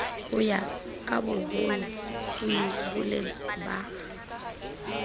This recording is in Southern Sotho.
ho ya kaboholo ieboleng ba